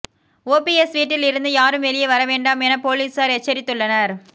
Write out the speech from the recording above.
OPS வீட்டில் இருந்து யாரும் வெளியே வரவேண்டாம் என பொலிசார் எச்சரித்துள்ளனர்